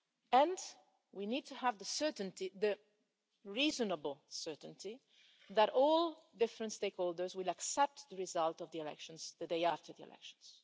And we need to have the reasonable certainty that all different stakeholders will accept the result of the elections the day after the elections.